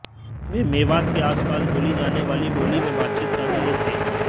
वे मेवात के आसपास बोली जाने वाली बोली में बातचीत कर रहे थे